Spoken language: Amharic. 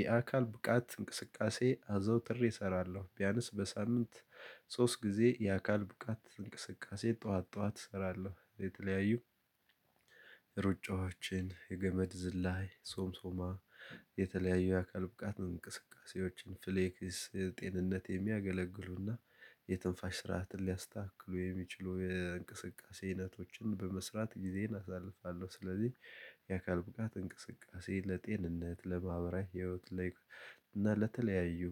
የአካል ብቃት እንቅስቃሴ አዘውትሬ እሰራለሁ ቢያንስ በሳምንት ሶስት ጊዜ የአካል ብቃት እንቅስቃሴ ጠዋት ጠዋት እሰራለሁ። የተለያዩ ሩጫዎችን የገመድ ዝላይ ሶምሶማ የተለያዩ የአካል ብቃት እንቅስቃሴዎችን ፍሌክስ ጤንነት የሚያገለግሉና የትንፋሽ ስርዓትን ሊያስተካክሉ የሚችሉ የእንቅስቃሴ አይነቶችን በመስራት ጊዜን አሳልፋለሁ። ስለዚህ የአካል ብቃት እንቅስቃሴ ለጤንነት ለማህበራዊ ህይወት እና ለተለያዩ